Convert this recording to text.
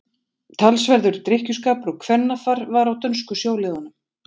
Talsverður drykkjuskapur og kvennafar var á dönsku sjóliðunum.